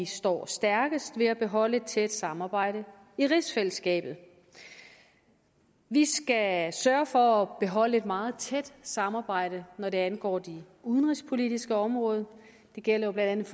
står stærkest ved at beholde et tæt samarbejde i rigsfællesskabet vi skal sørge for at beholde et meget tæt samarbejde når det angår det udenrigspolitiske område det gælder jo blandt